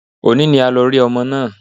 Òní ni a lọ rí ọmọ náà